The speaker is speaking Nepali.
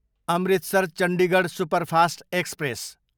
Amritsar, Chandigarh superfast express